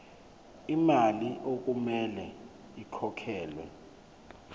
lemali okumele ikhokhelwe